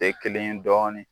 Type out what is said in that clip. E kelen dɔɔnin